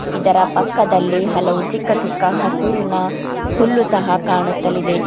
ಇದರ ಪಕ್ಕದಲ್ಲಿ ಹಲವು ಚಿಕ್ಕ ಚಿಕ್ಕ ಹಸಿರಿನ ಹುಲ್ಲು ಸಹ ಕಾಣುತ್ತಲಿದೆ.